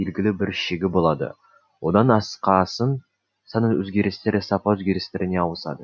белгілі бір шегі болады одан асқасын сан өзгерістері сапа өзгерістеріне ауысады